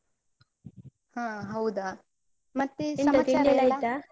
ಹಾ ಹೌದಾ?